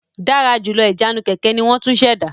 Dára jùlọ Ìjánu kẹ̀kẹ́ ní won tún ṣ'èdá